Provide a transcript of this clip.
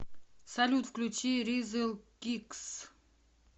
салют включи ризл кикс